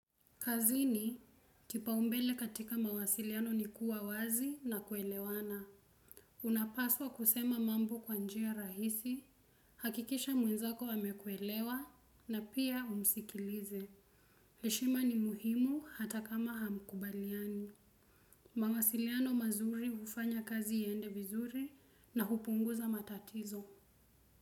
Kazini kipaumbele katika mawasiliano ni kuwa wazi na kuelewana. Unapaswa kusema mambo kwa njia rahisi, hakikisha mwenzako amekuelewa na pia umsikilize. Heshima ni muhimu hata kama hamkubaliani. Mawasiliano mazuri ufanya kazi iende vizuri na kupunguza matatizo.